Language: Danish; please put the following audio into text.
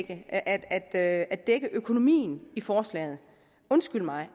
at at dække økonomien i forslaget undskyld mig